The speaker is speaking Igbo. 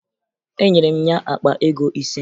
Enyere m ya akpa ego ise